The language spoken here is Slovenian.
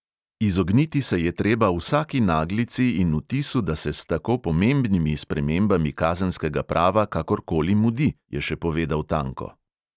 "Izogniti se je treba vsaki naglici in vtisu, da se s tako pomembnimi spremembami kazenskega prava kakor koli mudi," je še povedal tanko.